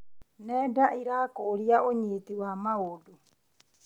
Nenda cirakũria ũnyiti wa maũndũ.